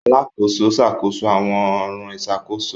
Alàkóso n ṣàkóso awọn ọran ìṣàkóso.